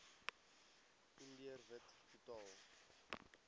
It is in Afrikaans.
indiër wit totaal